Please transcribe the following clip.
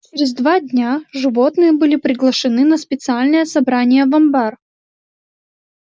через два дня животные были приглашены на специальное собрание в амбар